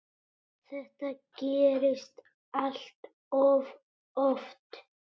Þetta gerist allt of oft.